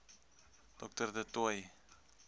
dr du toit